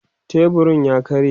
teburun ya karye